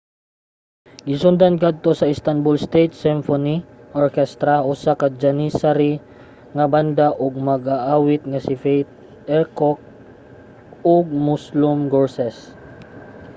gisundan kadto sa istanbul state symphony orchestra usa ka janissary nga banda ug sa mag-aawit nga si fatih erkoç ug müslüm gürses